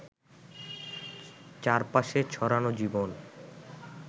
চারপাশে ছড়ানো জীবন